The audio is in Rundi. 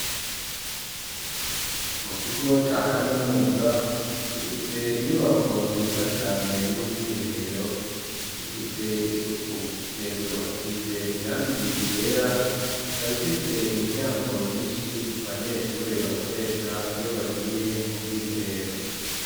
Mu kigo ca kaminuza gifise inyubako nziza cane y'ubwiherero ifise isuku hejuru hasize irangi ryera ikaba ifise imiryango myishi abanyeshuri bakoresha iyo bagiye mu bwiherero